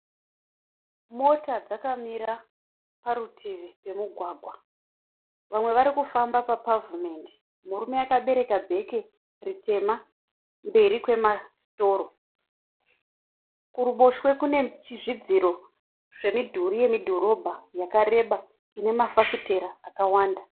Mota dzakamira parutivi pemugwagwa. Vamwe vari kufamba papavhimendi. Murume akabereka bheke ritema mberi kwemasitoro. Kuruboshwe kune zvidziro zvemidhuri yemudhorobha yakareba ine mafafitera akawanda.